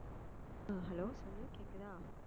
ஆஹ் hello சொல்லு கேக்குதா